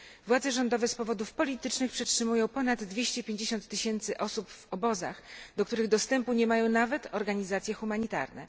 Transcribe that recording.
Władze rządowe z powodów politycznych przetrzymują ponad 250 tysięcy osób w obozach, do których dostępu nie mają nawet organizacje humanitarne.